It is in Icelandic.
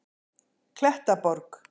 Klettaborg